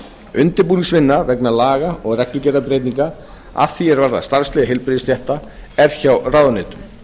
undirbúningsvinna vegna laga og reglugerðarbreytinga að því er varðar starfsleyfi heilbrigðisstétta er hjá ráðuneytum